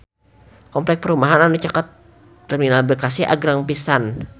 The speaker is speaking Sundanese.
Kompleks perumahan anu caket Terminal Bekasi agreng pisan